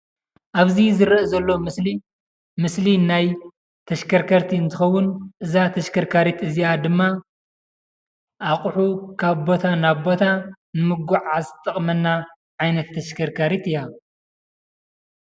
ኣብዚ ዝረኣ ዘሎ ምስሊ ምስሊ ናይ ተሽከርከርቲ እንትከውን እዛ ተሽከርካሪት እዚኣ ድማ ኣቁሑ ካብ ቦታ ናብ ቦታ ንምጉዓዓዝ ትጠቅመና ዓይነት ተሽከርካሪት እያ።